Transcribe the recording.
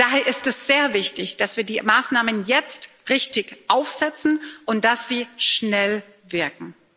Daher ist es sehr wichtig, dass wir die Maßnahmen jetzt richtig aufsetzen und dass sie schnell wirken.